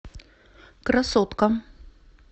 красотка